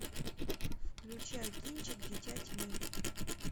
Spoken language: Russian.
включай кинчик дитя тьмы